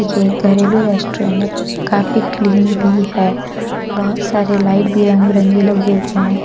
ये घरेलू रेस्टोरेंट है काफी क्लीन भी है बहुत सारे लाइट भी रंग बिरंगी लगे हुए हैं।